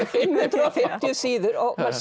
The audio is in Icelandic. fimm hundruð og fimmtíu síður